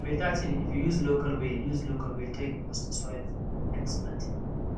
na better thing if you use local way use local way take boost soil food for next planting